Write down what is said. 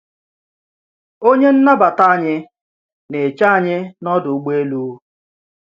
Onye nnàbàtà anyị na-eche anyị n’ọ̀dụ̀ ụgbọ̀elu.